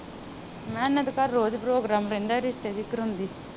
ਮੈ ਕਿਹਾ ਇਹਨਾਂ ਦੇ ਘਰ ਰੋਜ਼ program ਰਹਿੰਦਾ ਇਹ ਰਿਸਤੇ ਜੋ ਕਰਵਾਉਂਦੀ ਆ।